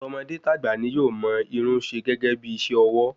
Tọmọdé tagba ni yóò mọ Irun se gẹgẹ bí iṣẹ ọwọ́